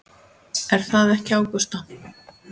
Er það ekki Ágústa?